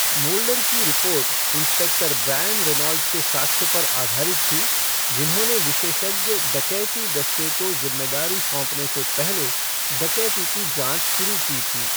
Moulder की report inspector Brian Reynolds के साक्ष्य पर आधारित थी, जिन्होंने विशेषज्ञ डकैती दस्ते को जिम्मेदारी सौंपने से पहले डकैती की जाँच शुरू की थी।